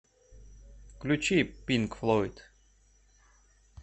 включи пинк флойд